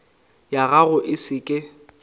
ya gago e se ke